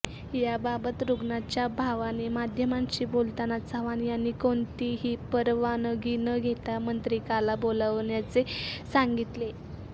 याबाबत रुग्णाच्या भावाने माध्यमांशी बोलताना चव्हाण यांनी कोणतीही परवानगी न घेता मंत्रिकाला बोलवल्याचे सांगितले